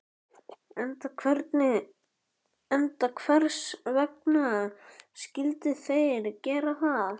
Enda hvers vegna skyldu þeir gera það?